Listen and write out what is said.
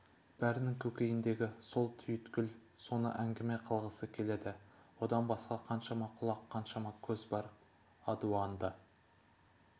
бәрінің көкейіндегі сол түйіткіл соны әңгіме қылғысы-ақ келеді одан басқа қаншама құлақ қаншама көз бар адуынды